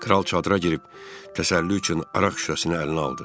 Kral çadıra girib təsəlli üçün araq şüşəsini əlinə aldı.